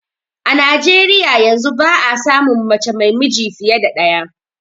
A Nijeriyar yanzu ba a samun mace mai miji fiye da ɗaya